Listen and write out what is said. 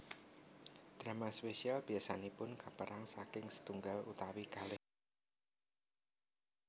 Drama spesial biasanipun kapèrang saking sètunggal utawi kalih episode mawon